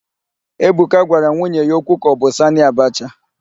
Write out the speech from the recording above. Ebuka gwara nwunye ya okwu ka ọ bụ Sanị Abacha.